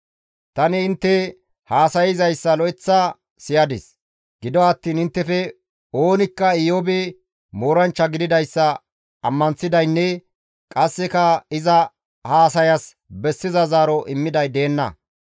Tani intte haasayzayssa lo7eththa siyadis; gido attiin inttefe oonikka Iyoobi mooranchcha gididayssa ammanththidaynne qasseka iza haasayas bessiza zaaro immiday deenna.